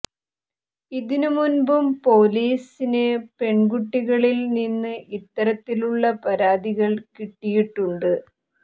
ഇതിനു മുൻപും പോലീസിന് പെൺകുട്ടികളിൽ നിന്ന് ഇത്തരത്തിലുള്ള പരാതികൾ കിട്ടിയിട്ടുണ്ട്